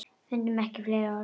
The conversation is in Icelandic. Fundum ekki fleiri orð.